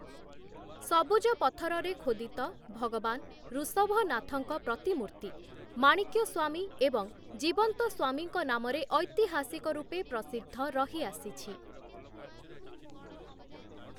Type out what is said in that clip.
ସବୁଜ ପଥରରେ ଖୋଦିତ ଭଗବାନ ଋଷଭନାଥଙ୍କ ପ୍ରତିମୂର୍ତ୍ତି ମାଣିକ୍ୟସ୍ୱାମୀ ଏବଂ ଜୀବନ୍ତସ୍ୱାମୀଙ୍କ ନାମରେ ଐତିହାସିକ ରୂପେ ପ୍ରସିଦ୍ଧ ରହି ଆସିଛି ।